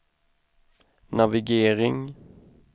navigering